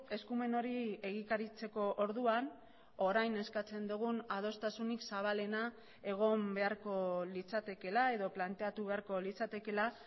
eskumen hori egikaritzeko orduan orain eskatzen dugun adostasunik zabalena egon beharko litzatekeela edo planteatu beharko litzatekeela